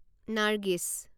নাৰ্গিছ